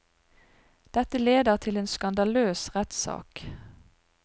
Dette leder til en skandaløs rettssak.